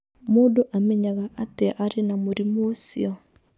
Mũndũ amenyaga atĩa atĩ arĩ na mũrimũ ũcio?